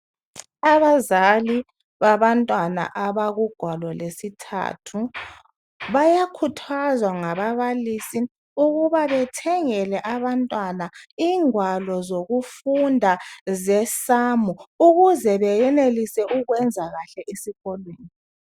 Abazali babantwana abakugwalo lwesithathu bayakhuthazwa ngababalisi ukuba bethengele abantwana ingwalo zokufunda zesamu ukuze beyenelise ukwenza kahle esikolweni.